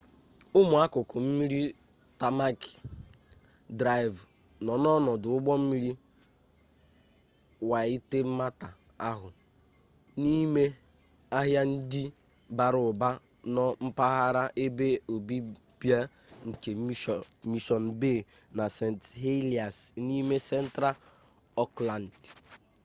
ụmụ akụkụ mmiri tamaki drive nọ n'ọdụ ụgbọ mmiri waitemata ahụ n'ime ahịa ndị bara ụba nọ mpaghara ebe obibi nke mission bay na st heliers n'ime central auckland